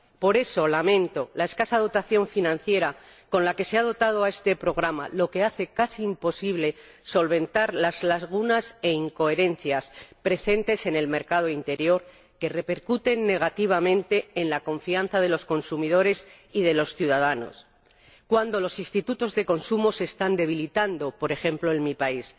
Por eso lamento la escasa dotación financiera que se le ha concedido a este programa, lo que hace casi imposible solventar las lagunas e incoherencias presentes en el mercado interior, que repercuten negativamente en la confianza de los consumidores y de los ciudadanos, cuando los institutos de consumo se están debilitando —por ejemplo, en mi país—.